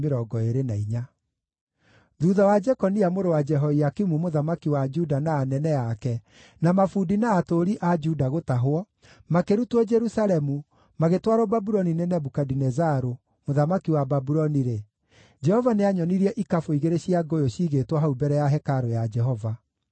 Thuutha wa Jekonia mũrũ wa Jehoakimu mũthamaki wa Juda na anene ake, na mabundi na atũũri a Juda gũtahwo, makĩrutwo Jerusalemu magĩtwarwo Babuloni nĩ Nebukadinezaru, mũthamaki wa Babuloni-rĩ, Jehova nĩanyonirie ikabũ igĩrĩ cia ngũyũ ciigĩtwo hau mbere ya hekarũ ya Jehova.